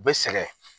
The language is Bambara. U bɛ sɛgɛn